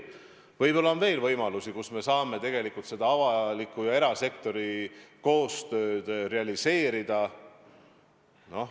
Võib-olla on veel võimalusi, kus me saame seda avaliku ja erasektori koostööd realiseerida.